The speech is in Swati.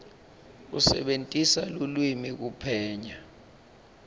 kusebentisa lulwimi kuphenya